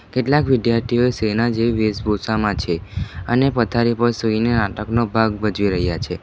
કેટલાક વિદ્યાર્થીઓ સેના જેવી વેશભૂષામાં છે અને પથારી પર સૂઈને નાટકનો ભાગ ભજવી રહ્યા છે.